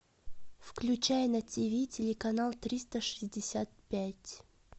включай на тиви телеканал триста шестьдесят пять